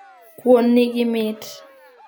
Kuon nigi mit